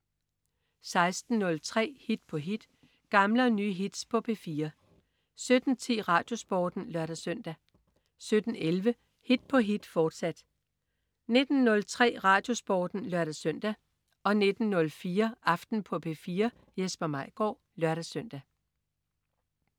16.03 Hit på hit. Gamle og nye hits på P4 17.10 RadioSporten (lør-søn) 17.11 Hit på hit, fortsat 19.03 RadioSporten (lør-søn) 19.04 Aften på P4. Jesper Maigaard (lør-søn)